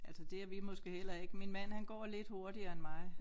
Altså det er vi måske heller ikke min mand han går lidt hurtigere end mig